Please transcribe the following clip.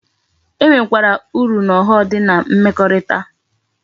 E nwe kwara uru na ogho m di na mmekorita